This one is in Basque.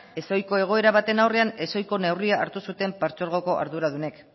ezohiko egoera baten aurrean ezohiko neurria hartu zuten partzuergoko arduradunek